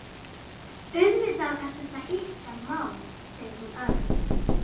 Auðvitað er þetta ykkar mál, segir hún örg.